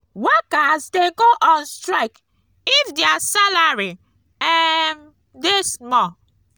workers de go on strike if their salary um de small